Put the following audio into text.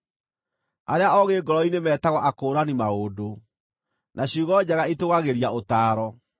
Arĩa oogĩ ngoro-inĩ metagwo akũũrani maũndũ, na ciugo njega itũũgagĩria ũtaaro.